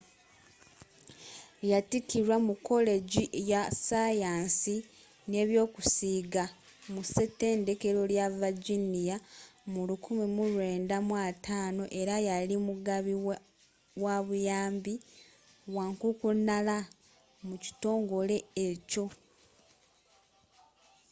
yattikirwa mu kolegi ya sayansi nebyokusiiga mu ssetendekero lya virginia mu 1950 era yali mugabi wabuyambi wankukunala mu kitongole ekyo